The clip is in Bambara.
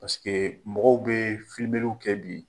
Parce que mɔgɔw bɛ filimeliw kɛ bi